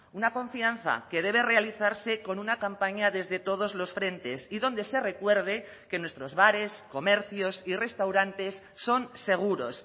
una confianza que debe realizarse con una campaña desde todos los frentes y donde se recuerde que nuestros bares comercios y restaurantes son seguros